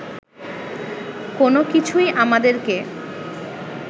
কোনোকিছুই আমাদেরকে